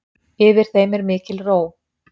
Yfir þeim er mikil ró.